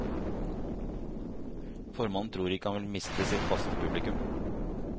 Formannen tror ikke han vil miste sitt faste publikum.